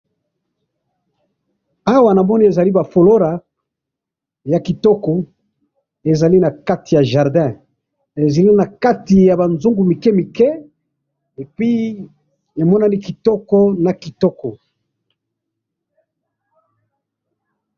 Awa namoni ezali ba folora ya kitoko ezali na kati ya jardin ezali na kati ba nzungu ya mike mike et puis emonani kitoko na kitoko